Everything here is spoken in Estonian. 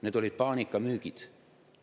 Need olid paanikamüügid.